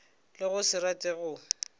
le go se rate go